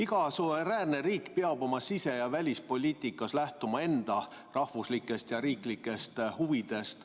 Iga suveräänne riik peab oma sise- ja välispoliitikas lähtuma enda rahvuslikest ja riiklikest huvidest.